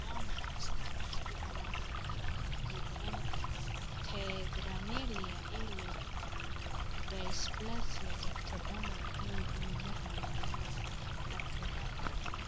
Waa maxay astamaha iyo calaamadaha Tetraamelia ee leh dysplasia ectodermal iyo cilladaha marinnada lacrimal?